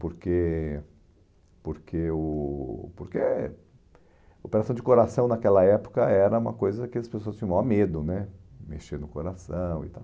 Porque porque o porque a operação de coração naquela época era uma coisa que as pessoas tinham o maior medo né, mexer no coração e tal.